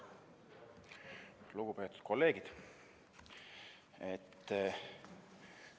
Lugupeetud kolleegid!